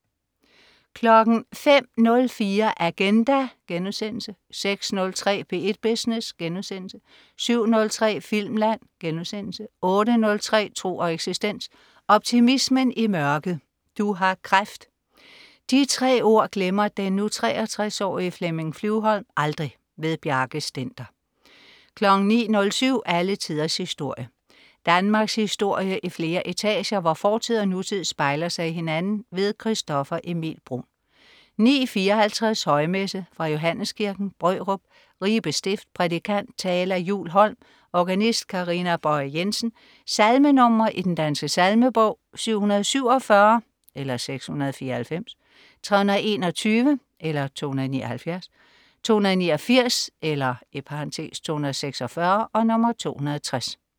05.04 Agenda* 06.03 P1 Business* 07.03 Filmland* 08.03 Tro og eksistens. Optimismen i mørket. "Du har kræft". De tre ord glemmer den nu 63-årige Flemming Flyvholm aldrig. Bjarke Stender 09.07 Alle tiders historie. Danmarkshistorie i flere etager, hvor fortid og nutid spejler sig i hinanden. Christoffer Emil Bruun 09.54 Højmesse. Fra Johanneskirken, Brørup, Ribe stift. Prædikant: Thala Juul Holm. Organist: Karina Bøje Jensen. Salmenr. i Den Danske Salmebog: 747 (694), 321 (279), 289 (246), 260